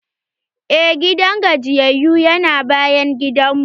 Eh, gidan gajiyayyu yana bayan gidanmu.